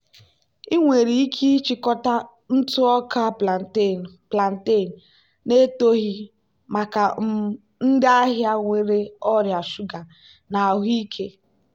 ị nwere ike ịchịkọta ntụ ọka plantain plantain na-etoghị maka um ndị ahịa nwere ọrịa shuga na ahụike.